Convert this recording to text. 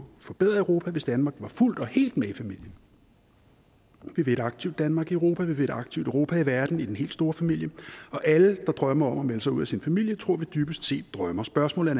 forbedre europa hvis danmark var fuldt og helt med i familien vi vil et aktivt danmark i europa vi vil et aktivt europa i verden i den helt store familie og alle der drømmer om at melde sig ud af at sin familie tror vi dybest set drømmer spørgsmålet